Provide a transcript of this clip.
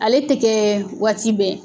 Ale tɛ kɛ waati bɛɛ.